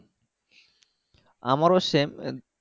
আমারও same